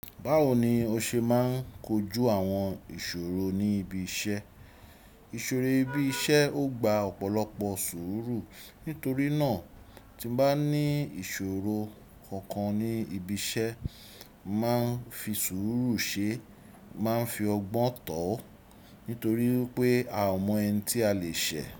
Báwo ni o ṣe máa ń kojú àwọn ìṣòro ní ibi iṣẹ́? Ìṣòro ibi iṣẹ́ ó gba ọ̀pọ̀lọpọ̀ sùúrù. Nítorí náà, tí mo bá ní ìṣòro kankan ní ibi iṣẹ́, mo màá n fi sùúrù ṣe, mo màá n fi ọgbọ́n tò ó. Nítorí pé a ò mọ ẹni tí a lè ṣẹ̀